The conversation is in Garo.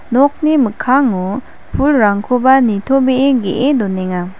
nokni mikkango pulrangkoba nitobee ge·e donenga.